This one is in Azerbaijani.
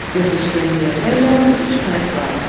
Göz işləyən yerdə yalnız üç qayıq vardı.